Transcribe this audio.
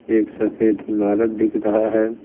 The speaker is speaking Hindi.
एक सफेद इमारत दिख रहा है।